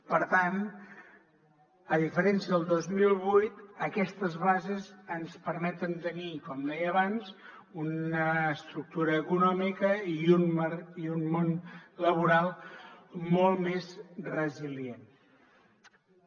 per tant a diferència del dos mil vuit aquestes bases ens permeten tenir com deia abans una estructura econòmica i un món laboral molt més resilients